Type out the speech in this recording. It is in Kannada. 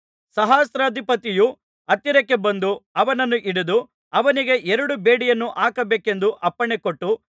ಸಹಸ್ರಾಧಿಪತಿಯು ಹತ್ತಿರಕ್ಕೆ ಬಂದು ಅವನನ್ನು ಹಿಡಿದು ಅವನಿಗೆ ಎರಡು ಬೇಡಿಯನ್ನು ಹಾಕಬೇಕೆಂದು ಅಪ್ಪಣೆಕೊಟ್ಟು